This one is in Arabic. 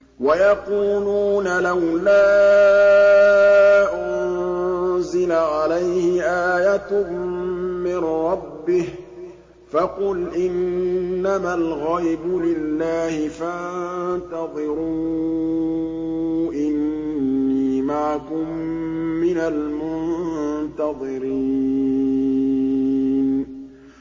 وَيَقُولُونَ لَوْلَا أُنزِلَ عَلَيْهِ آيَةٌ مِّن رَّبِّهِ ۖ فَقُلْ إِنَّمَا الْغَيْبُ لِلَّهِ فَانتَظِرُوا إِنِّي مَعَكُم مِّنَ الْمُنتَظِرِينَ